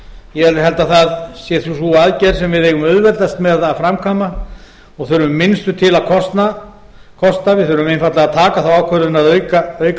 ég held að það sé sú aðgerð sem við eigum auðveldast með að framkvæmda og þurfum minnstu til að kosta við þurfum einfaldlega að taka þá ákvörðun að auka